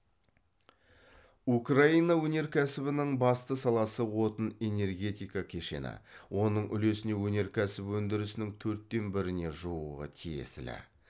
украина өнеркәсібінің басты саласы отын энергетика кешені оның үлесіне өнеркәсіп өндірісінің төрттен біріне жуығы тиесілі